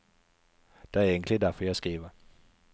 Det er egentlig derfor jeg skriver.